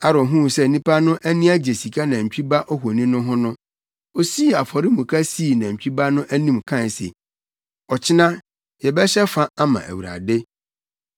Aaron huu sɛ nnipa no ani agye sika nantwi ba ohoni no ho no, osii afɔremuka sii nantwi ba no anim kae se, “Ɔkyena yɛbɛhyɛ fa ama Awurade.”